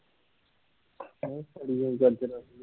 ਹੈਂ ਸੜੀ ਹੋਈ ਗਾਜਰ ਰਹਿ ਗਈਆ